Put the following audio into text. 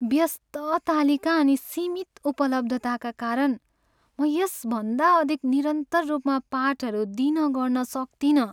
व्यस्त तालिका अनि सीमित उपलब्धताका कारण, म यसभन्दा अधिक निरन्तर रूपमा पाठहरू दिन गर्न सक्तिनँ।